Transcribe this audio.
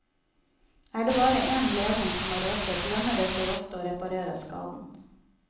Er det bare en ledning som har røket, lønner det seg ofte å reparere skaden.